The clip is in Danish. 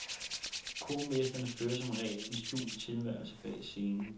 Kormestrene fører som regel en skjult tilværelse bag scenen.